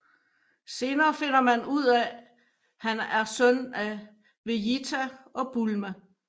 Senere finder man ud af han er søn af Vejita og Bulma